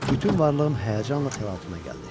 Bütün varlığım həyəcanla təlatümə gəldi.